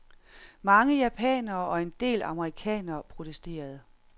Mange japanere og en del amerikanere protesterede.